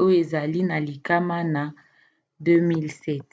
oyo ezali na likama na 2007